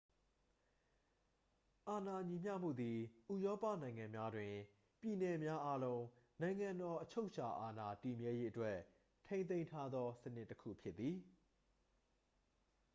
အာဏာညီမျှမှုသည် ဥရောပနိုင်ငံများတွင် ပြည်နယ်များအားလုံး နိုင်ငံတော် အချုပ်အချာအာဏာ တည်မြဲရေးအတွက်ထိန်းသိမ်းထားသေ စနစ်တစ်ခုဖြစ်သည်